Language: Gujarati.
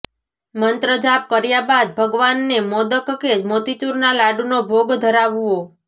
મંત્રજાપ કર્યા બાદ ભગવાનને મોદક કે મોતીચૂરના લાડુનો ભોગ ધરાવવો